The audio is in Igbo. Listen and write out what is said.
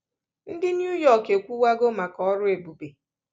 Ndị New-York ekwuwego maka ọrụ ebube.